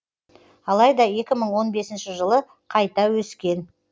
алайда екі мың он бесінші жылы қайта өскен